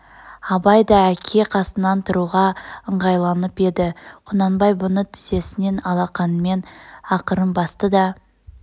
абай да әке қасынан тұруға ыңғайланып еді құнанбай бұны тізесінен алақанымен ақырын басты да